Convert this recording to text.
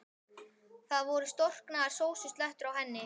Það voru storknaðar sósuslettur á henni.